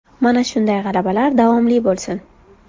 Mana shunday g‘alabalar davomli bo‘lsin.